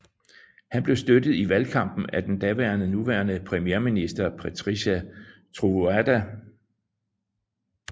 Han blev støttet i valgkampen af den daværende nuværende premierminister Patrice Trovoada